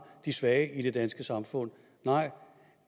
de svage i det danske samfund nej